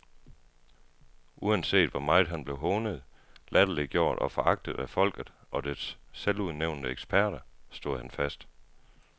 Uanset hvor meget han blev hånet, latterliggjort og foragtet af folket og dets selvudnævnte eksperter, stod han fast.